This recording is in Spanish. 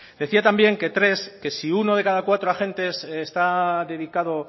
decía también que tres que si uno de cada cuatro agentes está dedicado